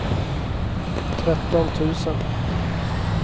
tretton tusen